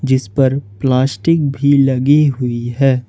जिस पर प्लास्टिक भी लगी हुई है।